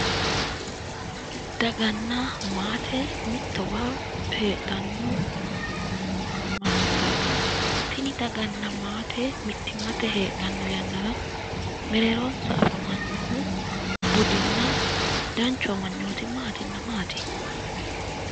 daganna maate mittowa heedhdhanno mannootaati tini daganna maate mittimmatenni heedhanno yannara mereeronsa afamanno budinna danchu amanyooti maatinna maati?